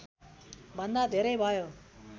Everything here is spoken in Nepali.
भन्दा धेरै भयो